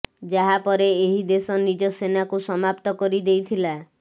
ଯାହା ପରେ ଏହି ଦେଶ ନିଜ ସେନାକୁ ସମାପ୍ତ କରି ଦେଇଥିଲା